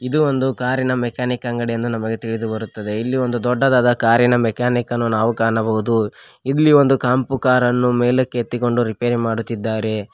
ಇದು ಒಂದು ಕಾರಿ ನ ಮೆಕಾನಿಕ್ ಅಂಗಡಿ ಎಂದು ನಮಗೆ ತಿಳಿದು ಬರುತ್ತದೆ ಇಲ್ಲಿ ಒಂದು ದೊಡ್ಡದಾದ ಕಾರಿ ನ ಮೆಕಾನಿಕ್ ಅನ್ನು ನಾವು ಕಾಣಬಹುದು ಇಲ್ಲಿ ಒಂದು ಕೆಂಪು ಕಾರ ನ್ನು ಮೇಲಕ್ಕೆ ಎತ್ತಿಕೊಂಡು ರಿಪೇರಿ ಮಾಡುತ್ತಿದ್ದಾರೆ.